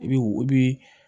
I bi i bi